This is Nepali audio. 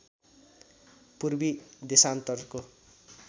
पूर्वी देशान्तरको